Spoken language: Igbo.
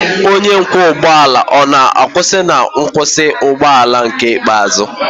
onye ọkwọ ụgbọ ala ọ na-akwụsị na nkwụsị ụgbọ ala ikpeazụ?